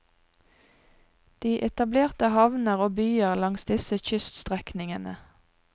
De etablerte havner og byer langs disse kystststrekningene.